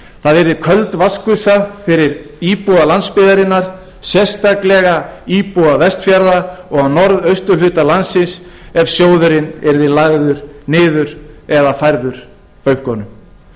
það yrði köld vatnsgusa fyrir íbúa landsbyggðarinnar sérstaklega íbúa vestfjarða og á norðausturhluta landsins ef sjóðurinn yrði lagður niður eða færður bönkunum